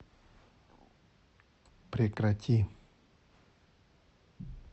прекрати